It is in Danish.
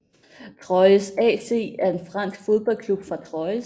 Troyes AC er en fransk fodboldklub fra Troyes